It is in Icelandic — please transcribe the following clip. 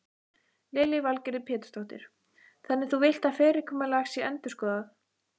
Lillý Valgerður Pétursdóttir: Þannig þú villt að fyrirkomulag sé endurskoðað?